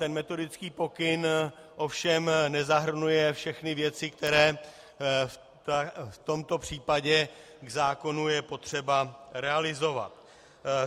Ten metodický pokyn ovšem nezahrnuje všechny věci, které v tomto případě k zákonu je potřeba realizovat.